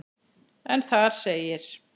en þar segir